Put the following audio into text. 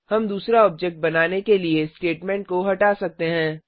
हम दूसरा ऑब्जेक्ट बनाने के लिए स्टेटमेंट को हटा सकते हैं